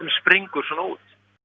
springur svona út